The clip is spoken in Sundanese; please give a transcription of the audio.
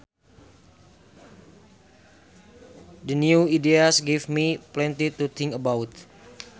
The new ideas give me plenty to think about